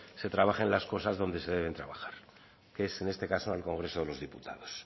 se trabajen las cosas donde se deben de trabajar que es en este caso en el congreso de los diputados